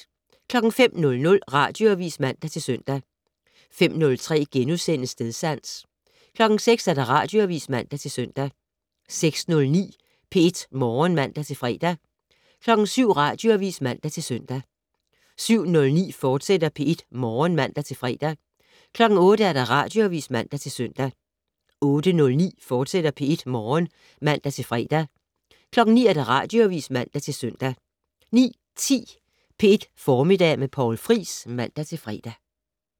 05:00: Radioavis (man-søn) 05:03: Stedsans * 06:00: Radioavis (man-søn) 06:09: P1 Morgen (man-fre) 07:00: Radioavis (man-søn) 07:09: P1 Morgen, fortsat (man-fre) 08:00: Radioavis (man-søn) 08:09: P1 Morgen, fortsat (man-fre) 09:00: Radioavis (man-søn) 09:10: P1 Formiddag med Poul Friis (man-fre)